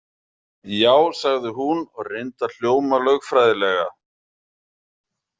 Já, sagði hún og reyndi að hljóma lögfræðilega.